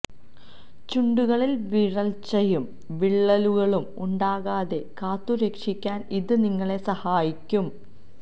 ചുണ്ടുകളിൽ വരൾച്ചയും വിള്ളലുകളും ഉണ്ടാകാതെ കാത്തു രക്ഷിക്കാൻ ഇത് നിങ്ങളെ സഹായിക്കും